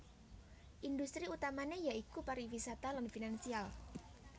Industri utamané ya iku pariwisata lan finansial